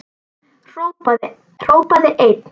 Hrópaði einn: